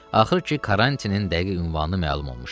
Axır ki, karantinin dəqiq ünvanı məlum olmuşdu.